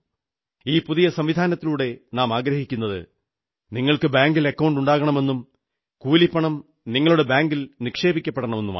ഈ പുതിയ സംവിധാനത്തിലൂടെ നാമാഗ്രഹിക്കുന്നത് നിങ്ങൾക്ക് ബാങ്കിൽ അക്കൌണ്ട് ഉണ്ടാകണമെന്നും കൂലിപ്പണം നിങ്ങളുടെ ബാങ്കിൽ നിക്ഷേപിക്കപ്പെടണമെന്നുമാണ്